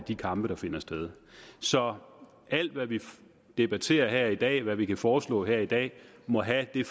de kampe der finder sted så alt hvad vi debatterer her i dag og alt hvad vi kan foreslå her i dag må have det